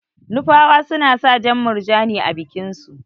Nupawa suna sa jan murjani a bikin su.